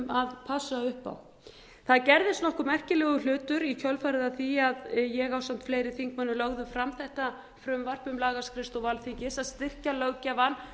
upp á það gerðist nokkuð merkilegur hlutur í kjölfarið á því að ég ásamt fleiri þingmönnum lögðum fram þetta frumvarp um lagaskrifstofu alþingis að styrkja löggjafann